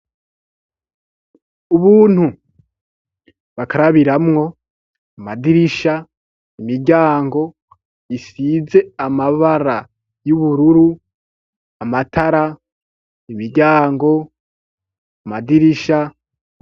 Ubuntu bakarabiramwo, amadirisha, imiryango isize amabara y'ubururu, amatara, imiryango, amadirisha.